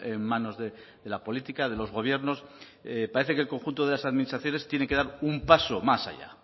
en manos de la política de los gobiernos parece que el conjunto de las administraciones tiene que dar un paso más allá